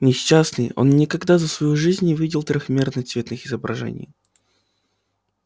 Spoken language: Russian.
несчастный он никогда за свою жизнь не видел трёхмерных цветных изображений